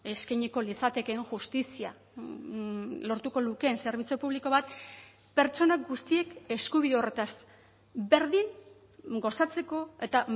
eskainiko litzatekeen justizia lortuko lukeen zerbitzu publiko bat pertsona guztiek eskubide horretaz berdin gozatzeko eta